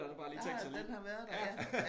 Ja om den har været der ja